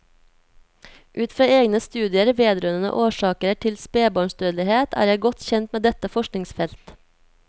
Ut fra egne studier vedrørende årsaker til spebarnsdødelighet er jeg godt kjent med dette forskningsfelt.